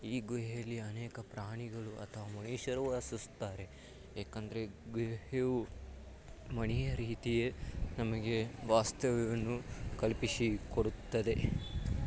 ಈ ಗುಹೆಯಲ್ಲಿ ಅನೇಕ ಪ್ರಾಣಿಗಳು ಅಥವಾ ಮನುಷ್ಯರು ವಾಸಿಸುತ್ತಾರೆ ಯಾಕಂದ್ರೆ ಗುಹೆಯು ಮನೆಯ ರೀತಿಯೆ ವಾಸ್ತವ್ಯವನ್ನು ನಮಗೆ ಕಲ್ಪಿಸಿಕೊಡುತ್ತದೆ.